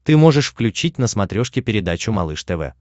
ты можешь включить на смотрешке передачу малыш тв